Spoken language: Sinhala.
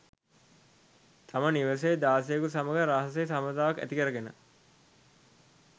තම නිවසේ දාසයෙකු සමග රහසේ සබඳතාවක් ඇතිකර ගෙන